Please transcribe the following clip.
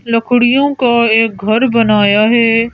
लकड़ियों का एक घर बनाया है।